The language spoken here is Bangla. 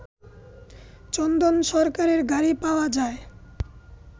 চন্দন সরকারের গাড়ি পাওয়া যায়